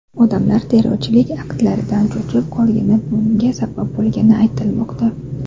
Odamlar terrorchilik aktlaridan cho‘chib qolgani bunga sabab bo‘lgani aytilmoqda.